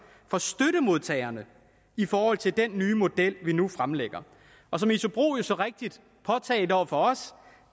for støttemodtagerne i forhold til den nye model vi nu fremlægger og som isobro så rigtigt påtalte over for os